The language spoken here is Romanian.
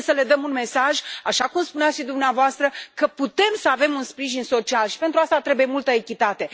Trebuie să le dăm un mesaj, așa cum spuneați dumneavoastră, că putem să avem un sprijin social și pentru asta trebuie multă echitate.